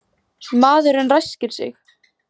Maðurinn ræskir sig.